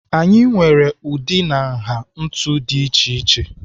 Anyị nwere ụdị na nha ntu dị iche iche.